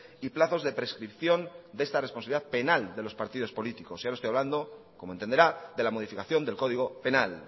y plazos de prescripción de esta responsabilidad penal de los partidos políticos y ahora estoy hablando como entenderá de la modificación del código penal